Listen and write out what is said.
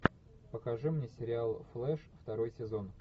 покажи мне сериал флэш второй сезон